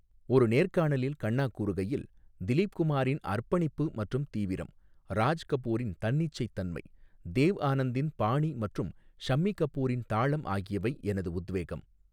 ஒரு நேர்காணலில் கன்னா கூறுகையில், 'திலீப் குமாரின் அர்ப்பணிப்பு மற்றும் தீவிரம், ராஜ் கபூரின் தன்னிச்சைத்தன்மை, தேவ் ஆனந்தின் பாணி மற்றும் ஷம்மி கபூரின் தாளம் ஆகியவை எனது உத்வேகம்.